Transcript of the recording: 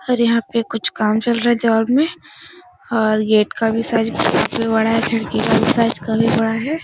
और यहाँ पे कुछ काम चल रहा है। जॉब में और गेट का भी साइज़ काफी बड़ा है खिड़की का भी साइज़ काफी बड़ा है।